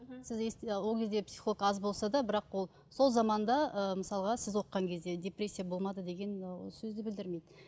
ол кезде психолог аз болса да бірақ ол сол заманда ы мысалға сіз оқыған кезде депрессия болмады деген ол сөзді білдірмейді